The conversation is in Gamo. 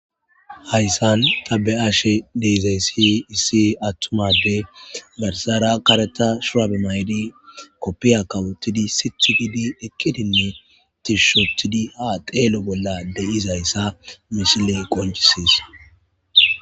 hayssan ta be'ashe deezayssi issi attumade garsara kareta shuabe maydi koppiya kawottidi sithugidi ekkidinne tishushotidi ha xeelo bolla deizayssa mishiley qonjisees